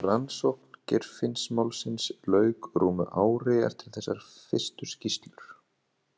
Rannsókn Geirfinnsmálsins lauk rúmu ári eftir þessar fyrstu skýrslur.